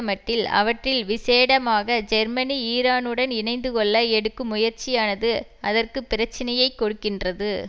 மட்டில் அவற்றில் விசேடமாக ஜெர்மனி ஈரானுடன் இணைந்து கொள்ள எடுக்கும் முயற்சியானது அதற்கு பிரச்சனையை கொடுக்கின்றது